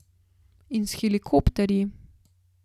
In s helikopterji.